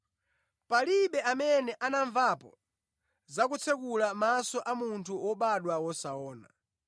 Palibe amene anamvapo za kutsekula maso a munthu wobadwa wosaona.